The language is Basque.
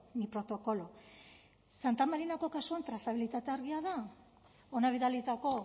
ni protocolo santa marinako kasuan trazabilitatea argia da hona bidalitako